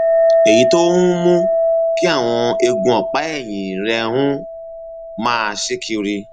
èyí tó um mú kí àwọn eegun ọpá ẹyìn rẹ um máa ṣí kiri